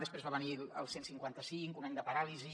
després va venir el cent i cinquanta cinc un any de paràlisi